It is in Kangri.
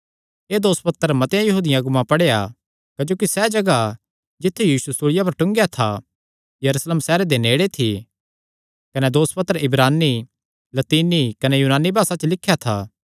एह़ दोसपत्र मतेआं यहूदी अगुआं पढ़ेया क्जोकि सैह़ जगाह जित्थु यीशु सूल़िया पर टूंगेया था यरूशलेम सैहरे दे नेड़े थी कने दोसपत्र इब्रानी लतीनी कने यूनानी भासा च लिख्या था